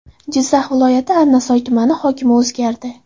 Jizzax viloyati Arnasoy tumani hokimi o‘zgardi.